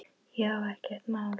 Já, ekkert mál!